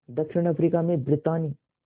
दक्षिण अफ्रीका में ब्रितानी